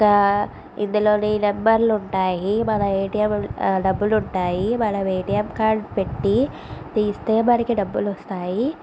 కింద ఇందులో నంబర్ లు ఉన్నాయి. మన ఎటిఎం డబ్బులు ఉంటాయి. మన ఎటిఎం కార్డు పెట్టి తీస్తే మనకి డబ్బులు వస్తాయి.